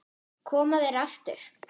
Koma þær aftur?